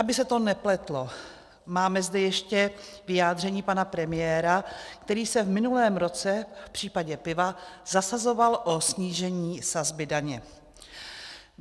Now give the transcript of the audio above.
Aby se to nepletlo, máme zde ještě vyjádření pana premiéra, který se v minulém roce v případě piva zasazoval o snížení sazby daně.